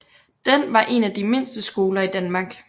Den var en af de mindste skoler i Danmark